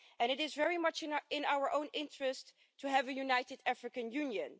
It is very much in our own interest to have a united African Union.